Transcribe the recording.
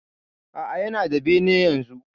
Aa, Yana da bene yanzu.